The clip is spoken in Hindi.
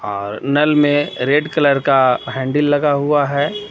और नल में रेड कलर का हैंडील लगा हुआ है.